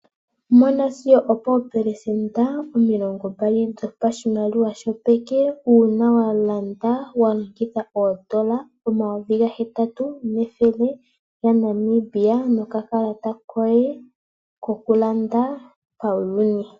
Mona sigo opoo pelesenda omilongo mbali dho pashimaliwa shopeke, uuna wa landa wa longitha oondola omayovi ga hetatu nethele ya Namibia, noka kalata koye ko kulanda pauyuni.